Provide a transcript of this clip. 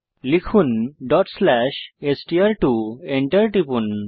লিখুন str2ডট স্লেস এসটিআর2 Enter টিপুন